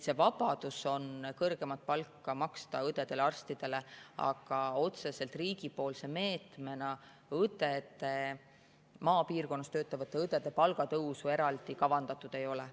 On vabadus maksta kõrgemat palka õdedele ja arstidele, aga riigi otsese meetmena maapiirkonnas töötavate õdede palga tõusu eraldi kavandatud ei ole.